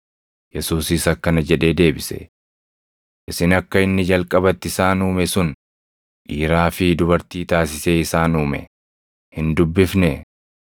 Yesuusis akkana jedhee deebise; “Isin akka inni jalqabatti isaan uume sun, ‘dhiiraa fi dubartii taasisee isaan uume’ + 19:4 \+xt Uma 1:27\+xt* hin dubbifnee?